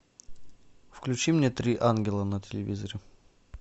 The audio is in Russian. включи мне три ангела на телевизоре